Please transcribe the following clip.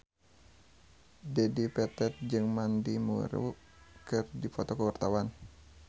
Dedi Petet jeung Mandy Moore keur dipoto ku wartawan